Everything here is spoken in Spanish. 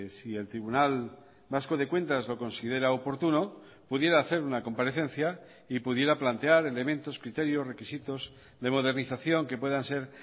si el tribunal vasco de cuentas lo considera oportuno pudiera hacer una comparecencia y pudiera plantear elementos criterios requisitos de modernización que puedan ser